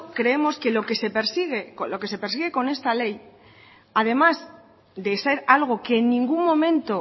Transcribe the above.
creemos que lo que se persigue con esta ley además de ser algo que ningún momento